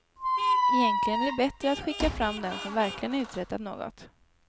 Egentligen är det bättre att skicka fram dem som verkligen uträttat något.